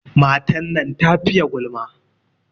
Matan nan ta fiye gulma.